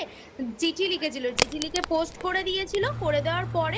চিঠি লিখেছিল। চিঠি লিখে Post করে দিয়েছিল। করে দেওয়ার পরে